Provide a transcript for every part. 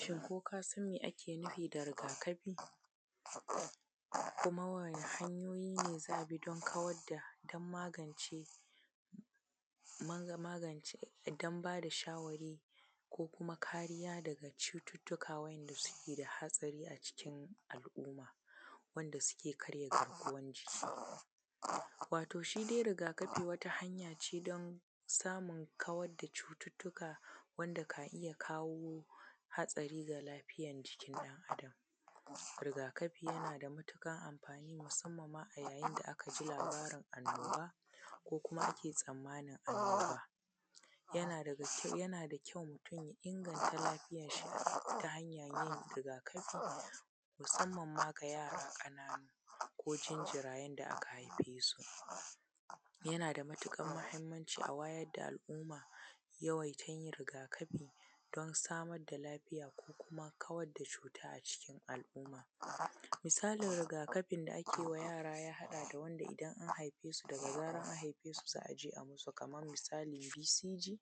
Shin ko ka san me ake nufi da kamkami da kuma wani hanyoyi ne za a bi dan kawar da dan magance dan bada shawarwari daga cututtuka wa ’yan’ da suke da haɗari a cikin al’umma wanda suke karya garkuwan jiki. Waton shidai rigakafi wata hanyace dan samun kawar da cututtuka wanda ka iya kawo haɗari ga lafiyan jikin ɗan adam. Rigakafi yana da matuƙar amfani musamman a yayin da aka ji labarin kamuwa ko kuma kae tsammanin kamuwa, yana da kyau inganta lafiyan shi ta hanyoyin alluran rigakafi musamman ma ga yara ƙanana ko janjirayen da aka haifesu. Yana da matuƙar mahimmanci a wayar da al’umma yawaita yin alluran rigakafi da samun lafiya ko kuma kawar da cuta a cikin al’umma. Misalin rigakafin da ake wa yara ya haɗa da wanda idan an haifesu da zaran an haifesu za a je a yi musu kaman misali BCG,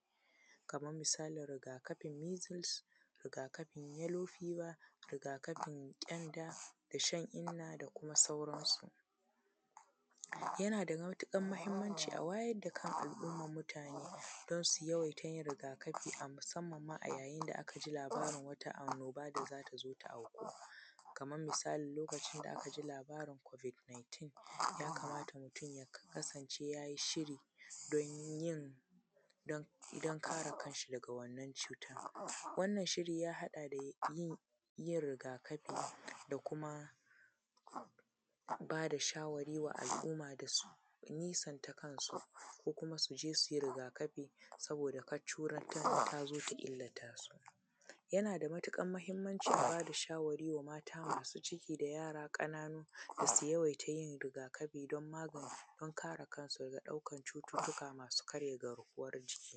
kaman misalin rigakafin mizils, rigakafin yallo fiba, rigakafin kyanda da shan inna da sauran su. Yana da matuƙan mahimmanci a wayar da kan al’umman mutane da su yawaita yin rigakafi musamman ma yayin da aka ji labarin wata annoba da zata zo ta auku kaman misalin lokacin da aka ji labarin kobik nintin ya kamata mutum yayi shiri dan kare kanshi daga wannan cutan. Wannan shiri ya haɗa da yin rigakafi da kuma bada shawari wa al’umma da su nesanta kansu ko kuma su je su yi rigakafi saboda kada cutan in tazo ta illata su. Yana da matuƙar mahimmanci da ba da shawari ga mata masu ciki da yara ƙanana da su yawaita yin rigakafi dan kare kansu daga cututtuka masu karya garkuwan jiki.